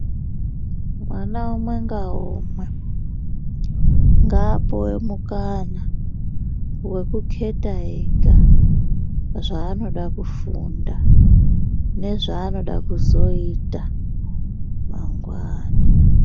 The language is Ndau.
Mwana umwe ngaumwe ngaapuwe mukana, wekukheta ega ,zvaanoda kufunda ,nezvaanoda kuzoita, mangwani.